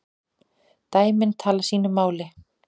Dæmin tali sínu máli.